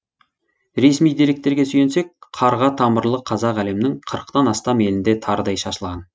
ресми деректерге сүйенсек қарға тамырлы қазақ әлемнің қырықтан астам елінде тарыдай шашылған